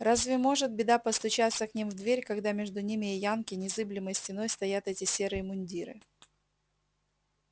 разве может беда постучаться к ним в дверь когда между ними и янки незыблемой стеной стоят эти серые мундиры